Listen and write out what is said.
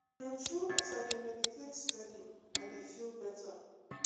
true true as i dey meditate steady i dey feel better.